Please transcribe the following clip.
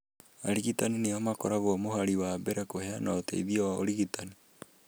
Arigitani nĩo makoragwo mũhari wa mbere kũheana ũteithio wa ũrigitani.